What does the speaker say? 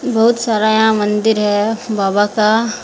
बहुत सारा यहाँ मंदिर है बाबा का।